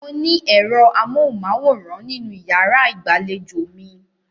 Mo ní ẹ̀ro amóhùmáwòhán nínú ìyàrá ìgbàlejò mi.